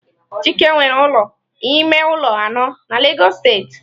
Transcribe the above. Chike nwere ụlọ ime ụlọ anọ na Lagos steeti.